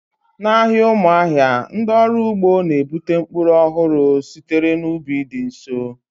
N'ahịa Umuahia, ndị ọrụ ugbo na-ebute mkpụrụ ọhụrụ sitere n'ubi dị nso